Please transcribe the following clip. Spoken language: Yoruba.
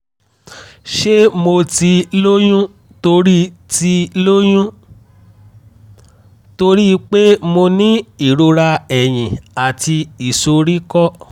ṣé mo ti lóyún torí ti lóyún torí pé mo ní ìrora ẹ̀yìn àti ìsoríkọ́?